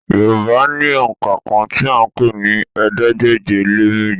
Yorùbá ní òǹkà kan tí à ń pè ní ̀ẹẹ́dégbèje-lé-méjì